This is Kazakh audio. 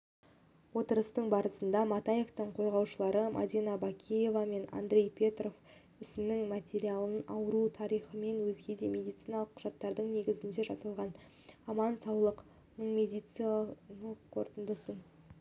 отырыстың басында матаевтың қорғаушылары мадина бакиева мен андрей петров істің материалына ауру тарихымен өзгеде медициналық құжаттар негізінде жасалған аман-саулық ныңмедициналық қорытындысын